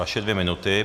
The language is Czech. Vaše dvě minuty.